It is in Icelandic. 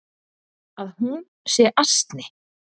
Að hún sé asni.